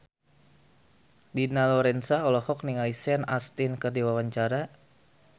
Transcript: Dina Lorenza olohok ningali Sean Astin keur diwawancara